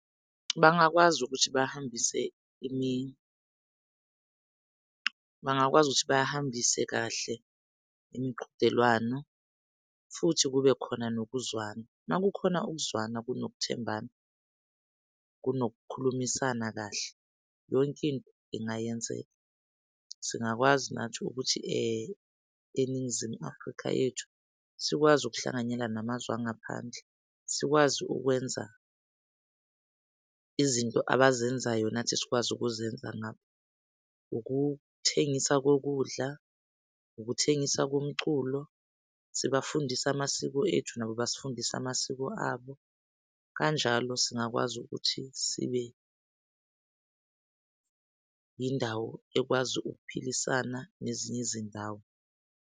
Bangakwazi ukuthi bahambise , bangakwazi ukuthi bahambise kahle imiqhudelwano futhi kube khona nokuzwana. Makukhona ukuzwana kunokuthembana kunokukhulumisana kahle yonkinto ingayenzeka. Singakwazi nathi ukuthi eNingizimu Afrika yethu sikwazi ukuhlanganyela namazwe angaphandle, sikwazi ukwenza izinto abazenzayo nathi sikwazi ukuzenza ngapha ukuthengisa kokudla, ukuthengisa komculo. Sibafundise amasiko ethu, nabo basifundise amasiko abo. Kanjalo singakwazi ukuthi sibe yindawo ekwazi ukuphilisana nezinye izindawo.